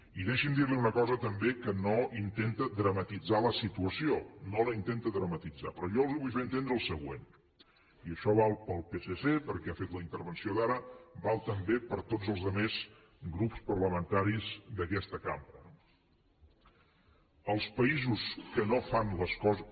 i deixi’m dir li una cosa també que no intenta dramatitzar la situació no la intenta dramatitzar però jo els vull fer entendre el següent i això val per al psc perquè ha fet la intervenció d’ara val també per a tots els altres grups parlamentaris d’aquesta cambra no els països que no fan les coses